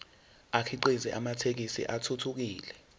akhiqize amathekisthi athuthukile